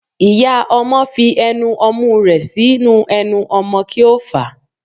Iyá ọmọ fí enú omú rẹ sinú enú ọmọ ki o fa